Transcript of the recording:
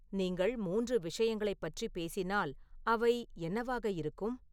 நீங்கள் மூன்று விஷயங்களைப் பற்றி பேசினால், அவை என்னவாக இருக்கும்